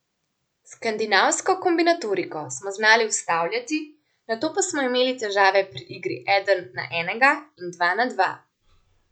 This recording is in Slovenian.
Skandinavsko kombinatoriko smo znali ustavljati, nato pa smo imeli težave pri igri eden na enega in dva na dva.